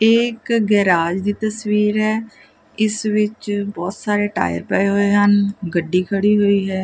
ਇਹ ਇੱਕ ਗੈਰਾਜ ਦੀ ਤਸਵੀਰ ਹੈ ਇਸ ਵਿੱਚ ਬਹੁਤ ਸਾਰੇ ਟਾਈ ਪਏ ਹੋਏ ਹਨ ਗੱਡੀ ਖੜੀ ਹੋਈ ਹੈ।